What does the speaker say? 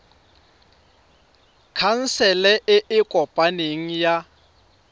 khansele e e kopaneng ya